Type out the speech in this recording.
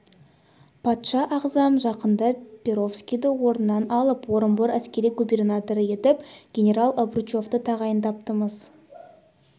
патша ағзам жақында перовскийді орнынан алып орынбор әскери губернаторы етіп генерал обручевті тағайындапты-мыс